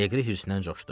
Neqri hırsdən coşdu.